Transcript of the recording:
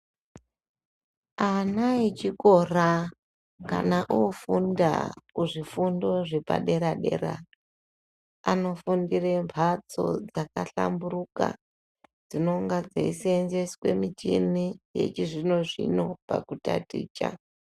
Ana echikora kana ofunda kuzvifundo zvepaderadera anofundire pamhatso dzakahlamburuka dzinonga dzeisenzeswe michini dzechizvino-zvino pakutaticha.